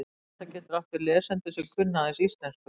Allt þetta getur átt við lesendur sem kunna aðeins íslensku.